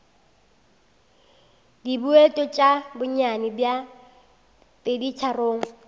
dibouto tša bonnyane bja peditharong